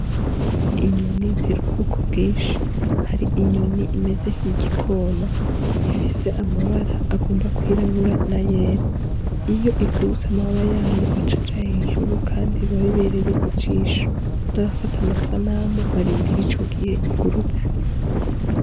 Inyoni ziri mu bwoko bwinshi hari inyoni imeze nkigi kona ifise amabara agomba kwirabura n' ayera iyo igurutse amababa yayo aca aja hejuru kandi biba bibereye ijisho n' abafata amasanamu barindira ico gihe igurutse.